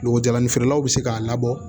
Nogo jalanin feerelaw bɛ se k'a labɔ